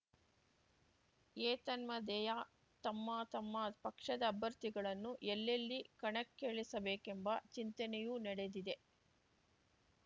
ಏತನ್ಮಧ್ಯೆಯ ತಮ್ಮ ತಮ್ಮ ಪಕ್ಷದ ಅಭ್ಯರ್ಥಿಗಳನ್ನು ಎಲ್ಲೆಲ್ಲಿ ಕಣಕ್ಕಿಳಿಸಬೇಕೆಂಬ ಚಿಂತನೆಯೂ ನಡೆದಿದೆ